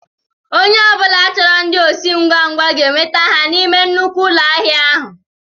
Ònye ọbula chọrọ ndị osi ngwa ngwa ga enweta ha n'ime nnukwu ụlọ ahịa ahụ.